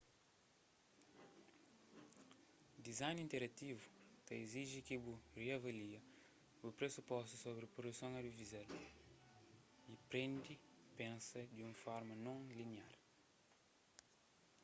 design interativu ta iziji ki bu riavalia bu presupostus sobri produson audiovizual y prende pensa di un forma non liniar